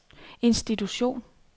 institution